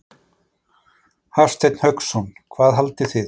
Hafsteinn Hauksson: Hvað haldið þið?